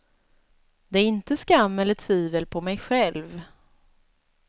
Det är inte skam eller tvivel på mig själv.